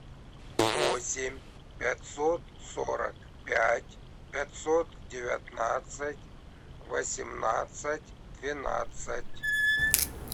восемь пятьсот сорок пять пятьсот девятнадцать восемнадцать двенадцать